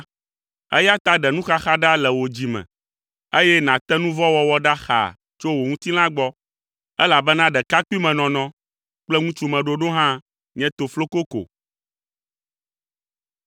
eya ta ɖe nuxaxa ɖa le wò dzime, eye nàte nu vɔ̃ wɔwɔ ɖa xaa tso wò ŋutilã gbɔ, elabena ɖekapuimenɔnɔ kple ŋutsumeɖoɖo hã nye tofloko ko.